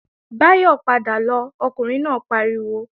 Báyọ̀ padà lọ, Ọkùnrin náà pariwo!